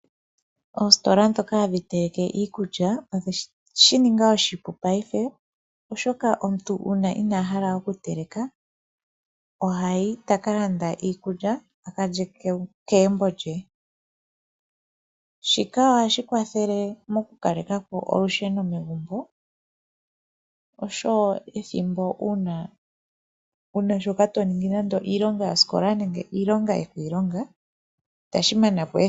Oositola dhoka hadhinteleke iikulya, odhe shi ninga oshipu paife oshoka uuna omuntu ina hala okuteleka ohayi ta ka landa iikulya, a ka lye kegumbo lye. Shika ohashi kwathele mokukalekapo olusheno megumbo, oshowo ethimbo uuna wu na shoka to ningi nande iilonga yosikola, nenge iilonga yokiilonga itashi manapo ethimbo.